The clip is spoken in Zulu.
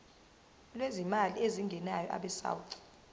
lwezimali ezingenayo abesouth